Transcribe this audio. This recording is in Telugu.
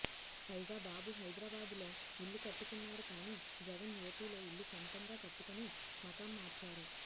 పైగా బాబు హైదరాబాదు లో ఇల్లు కట్టుకున్నారు కాని జగన్ ఏపీలో ఇల్లు సొంతగా కట్టుకుని మకాం మార్చారు